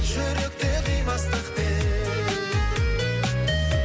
жүректе қимастықпен